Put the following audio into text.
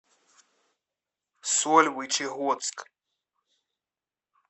сольвычегодск